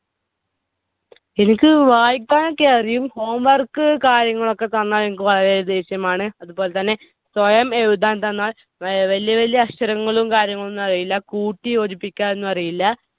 എനിക്ക് വായിക്കാനൊക്കെ അറിയും. Homework കാര്യങ്ങളൊക്കെ തന്നാൽ എനിക്ക് വളരെ ദേഷ്യമാണ്. അതുപോലെതന്നെ സ്വയം എഴുതാൻ തന്നാൽ വലിയ വലിയ അക്ഷരങ്ങളും കാര്യങ്ങളൊന്നും അറിയില്ല. കൂട്ടിയോജിപ്പിക്കാൻ ഒന്നും അറിയില്ല.